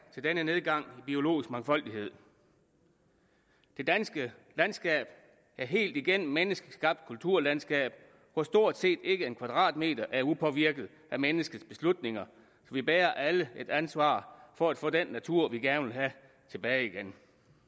til denne nedgang i biologisk mangfoldighed det danske landskab er helt igennem menneskeskabt kulturlandskab hvor stort set ikke en kvadratmeter er upåvirket af menneskets beslutninger vi bærer alle et ansvar for at få den natur vi gerne vil have tilbage igen